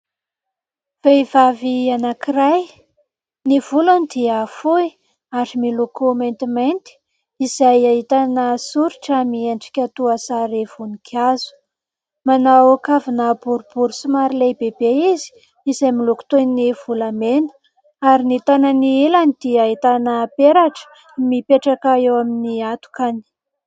Vehivavy anankiray, ny volony dia fohy ary miloko maintimainty, izay ahitana soritra miendrika toa sarim-voninkazo, manao kavina boribory somary lehibe be izy izay miloko toy ny volamena ary ny tanany ilany dia ahitana peratra mipetraka eo amin'ny atokany.